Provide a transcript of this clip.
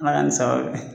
Ala ni sabati